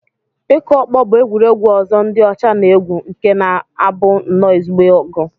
Ịkụ ọkpọ bụ egwuregwu ọzọ ndị ọcha na-egwu nke na-abụ nnọọ ezigbo ọgụ